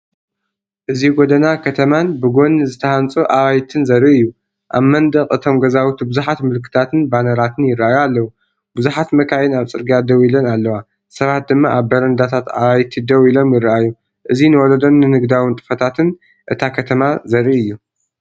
እዚ ጎደና ከተማን ብጎኒ ዝተሃንጹ ኣባይትን ዘርኢ እዩ። ኣብ መንደቕ እቶም ገዛውቲ ብዙሓት ምልክታትን ባነራትን ይረኣዩ ኣለዉ። ብዙሓት መካይን ኣብ ጽርግያ ደው ኢለን ኣለዋ። ሰባት ድማ ኣብ በረንዳታት ኣባይቲ ደው ኢሎም ይረኣዩ። እዚ ንወለዶን ንግዳዊ ንጥፈታትን እታ ከተማ ዘርኢእዩ።